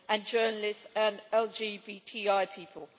journalists and LGBTI people.